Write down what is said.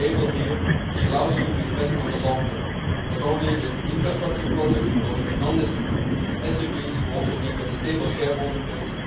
we have a label here which allows you to invest in the long term, not only in infrastructure projects, but also in non-listed companies and in SMEs which also need a stable shareholding base.